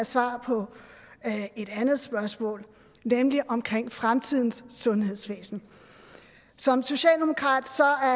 svar på et andet spørgsmål nemlig omkring fremtidens sundhedsvæsen som socialdemokrat